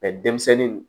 denmisɛnninw